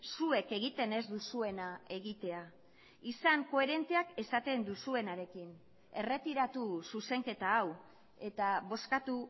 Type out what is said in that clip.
zuek egiten ez duzuena egitea izan koherenteak esaten duzuenarekin erretiratu zuzenketa hau eta bozkatu